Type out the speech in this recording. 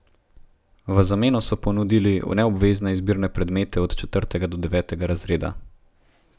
V zameno so ponudili neobvezne izbirne predmete od četrtega do devetega razreda.